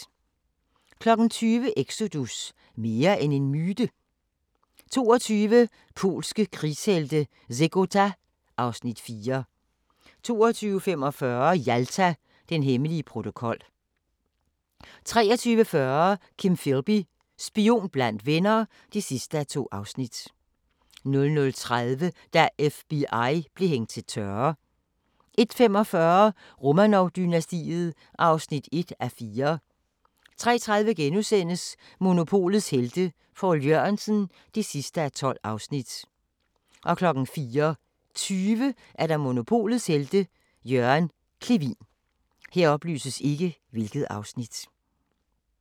20:00: Exodus – mere end en myte? 22:00: Polske krigshelte – Zegota (Afs. 4) 22:45: Jalta – den hemmelige protokol 23:40: Kim Philby – spion blandt venner (2:2) 00:30: Da FBI blev hængt til tørre 01:45: Romanov-dynastiet (1:4) 03:30: Monopolets Helte – Poul Jørgensen (12:12)* 04:20: Monopolets Helte – Jørgen Clevin